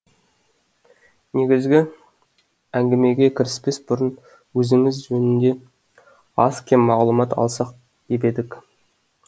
негізгі әңгімеге кіріспес бұрын өзіңіз жөнінде аз кем мағлұмат алсақ деп едік